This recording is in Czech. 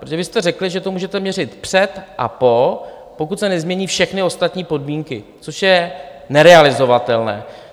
Protože vy jste řekli, že to můžete měřit před a po, pokud se nezmění všechny ostatní podmínky, což je nerealizovatelné.